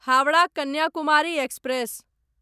Howrah Kanyakumari express